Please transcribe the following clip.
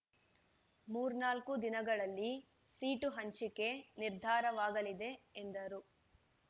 ಮೂರು ನಾಲ್ಕು ದಿನಗಳಲ್ಲಿ ಸೀಟು ಹಂಚಿಕೆ ನಿರ್ಧಾರವಾಗಲಿದೆ ಎಂದರು